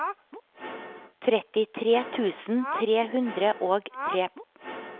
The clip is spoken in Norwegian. trettitre tusen tre hundre og tre